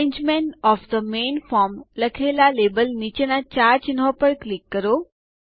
arrangement of the main form લખેલા label નીચેના ચાર ચિહ્નો પર ક્લિક કરો